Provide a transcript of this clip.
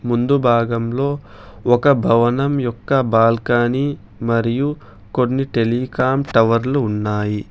ముందు భాగంలో ఒక భవనం యొక్క బాల్కనీ మరియు కొన్ని టెలికాం టవర్లు ఉన్నాయి.